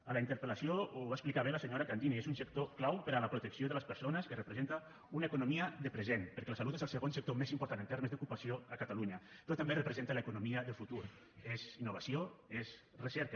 a la interpel·lació ho va explicar bé la senyora candini és un sector clau per a la protecció de les persones que representa una economia de present perquè la salut és el segon sector més important en termes d’ocupació a catalunya però també representa l’economia del futur és innovació és recerca